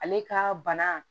Ale ka bana